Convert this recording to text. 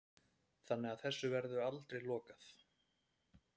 Þannig að þessu verður aldrei lokað